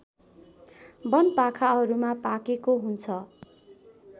वनपाखाहरूमा पाकेको हुन्छ